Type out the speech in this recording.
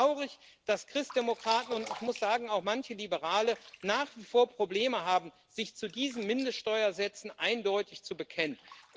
Es ist traurig, dass Christdemokraten und ich muss sagen, auch manche Liberale nach wie vor Probleme haben, sich zu diesen Mindeststeuersätzen eindeutig zu bekennen.